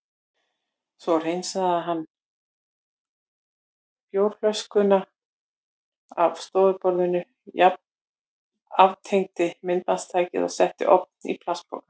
Svo hreinsaði hann bjórflöskurnar af stofuborðinu, aftengdi myndbandstækið og setti ofan í plastpoka.